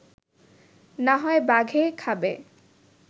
না হয় বাঘে খাবে